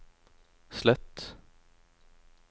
slett